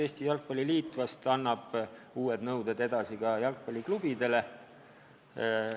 Eesti Jalgpalli Liit vahest annab uued nõuded edasi ka jalgpalliklubidele.